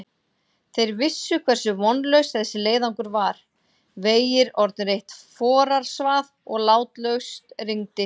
Þeir vissu hversu vonlaus þessi leiðangur var, vegir orðnir eitt forarsvað og látlaust rigndi.